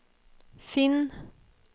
finn